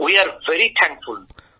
আমরা অত্যন্ত কৃতজ্ঞ